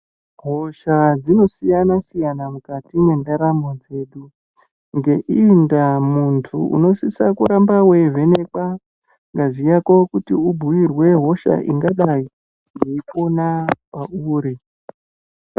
Hosha dzinosiyana-siyana mukati mwendaramo dzedu. Ngeiyi ndaa muntu unosisa kuramba veivhenekwa ngazi yako kuti ubhuirwe hosha ingadai yeipona pauri.